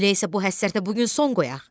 Elə isə bu həsrətə bu gün son qoyaq.